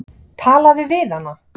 Talaðu við hana.